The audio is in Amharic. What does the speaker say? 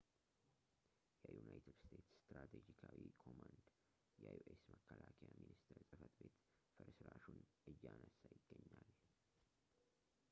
የዩናይትድ ስቴትስ ስትራቴጂካዊ ኮማንድ የዩ ኤስ የመከላከያ ሚኒስቴር ጽሕፈት ቤት ፍርስራሹ ን እያነሳ ይገኛል